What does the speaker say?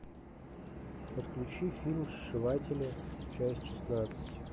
подключи фильм сшиватели часть шестнадцать